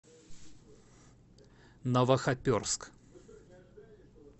новохоперск